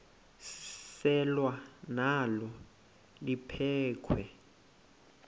selwa nalo liphekhwe